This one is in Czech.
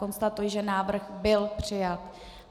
Konstatuji, že návrh byl přijat.